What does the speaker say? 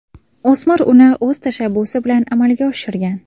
O‘smir uni o‘z tashabbusi bilan amalga oshirgan.